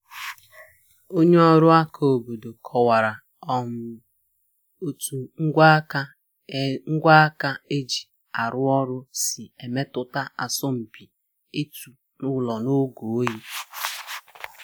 Onye ọrụ aka obodo kọwara um otu ngwa aka e ngwa aka e ji arụ ọrụ si emetụta asọmupi ịtụ ụlọ n’oge oyi